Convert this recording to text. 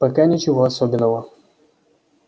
пока ничего особенного